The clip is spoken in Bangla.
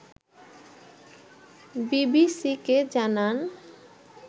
বিবিসিকে জানান